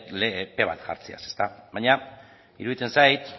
epe bat jartzeaz baina iruditzen zait